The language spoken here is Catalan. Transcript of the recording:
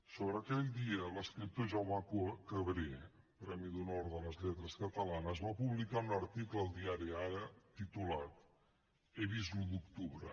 sobre aquell dia l’escriptor jaume cabré premi d’honor de les lletres catalanes va publicar un article al diari ara titulat he vist l’un d’octubre